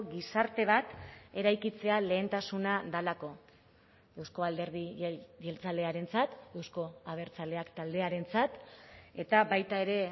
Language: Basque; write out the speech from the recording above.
gizarte bat eraikitzea lehentasuna delako euzko alderdi jeltzalearentzat euzko abertzaleak taldearentzat eta baita ere